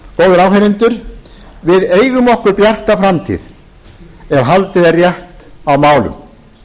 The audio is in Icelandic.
já góðir áheyrendur við eigum okkur bjarta framtíð ef haldið er rétt á málum